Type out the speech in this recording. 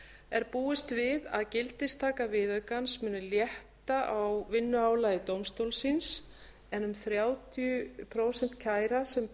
er búist við að gildistaka viðaukans muni létta á vinnuálagi dómstólsins en um þrjátíu prósent kæra sem